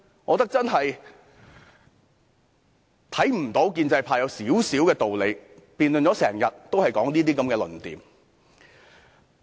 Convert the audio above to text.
我看不到建制派有一點點道理，辯論了一整天，也只是提出這些論調。